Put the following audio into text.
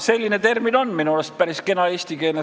Selline termin on minu arust päris kena.